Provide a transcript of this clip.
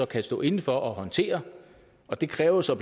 kan stå inde for og håndtere det kræver så